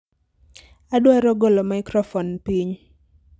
Adwaro golo maikrofon piny